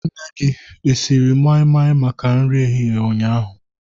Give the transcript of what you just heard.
Nne gị esiriri mai-mai maka nri ehihie ụnyaahụ?